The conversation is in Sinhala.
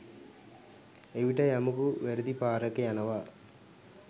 එවිට යමකු වැරදි පාරක යනවා